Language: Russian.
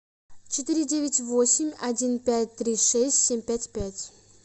четыре девять восемь один пять три шесть семь пять пять